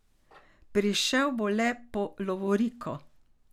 Prišel bo le po lovoriko.